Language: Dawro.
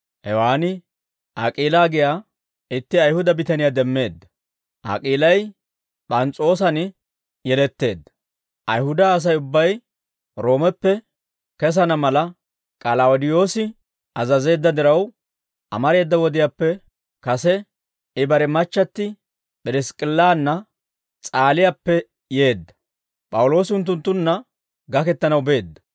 Hewaan Ak'iilaa giyaa itti Ayihuda bitaniyaa demmeedda; Ak'iilay P'ans's'oossan yeletteedda; Ayihuda Asay ubbay Roomeppe kesana mala, K'alawudeyoosi azazeedda diraw, amareeda wodiyaappe kase, I bare machchatti P'irisk'k'illanna S'aaliyaappe yeedda; P'awuloosi unttunttunna gakettanaw beedda.